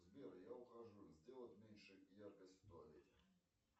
сбер я ухожу сделать меньше яркость в туалете